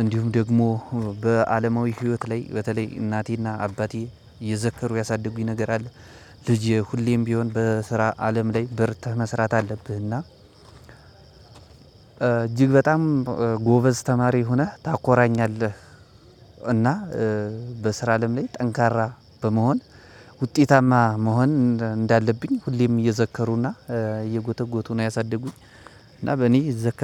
እንዲሁም ደግሞ በአለማዊ ህይወት ላይ በተለይ እናቴና አባቴ የዘከሩ ያሳድጉኝ ነገር አለ። ልጄ ሁሌም ቢሆን በስራ አለም ላይ በርትተህ መስራት አለብህና እጅግ በጣም ጎበዝ ተማሪ ሆነህ ታኮራኛለህ። እና በስራ አለም ላይ ጠንካራ በመሆን ውጤታማ መሆን እንዳለብኝ ሁሌም እየዘከሩና እየጎተጎቱ ነው ያሳደጉኝ። እና በእኔ ዝክር